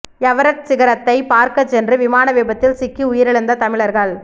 Everest சிகரத்தைப் பார்க்கச் சென்று விமான விபத்தில் சிக்கி உயிரிழந்த தமிழர்கள்